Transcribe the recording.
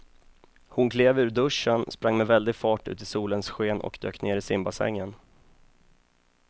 Hon klev ur duschen, sprang med väldig fart ut i solens sken och dök ner i simbassängen.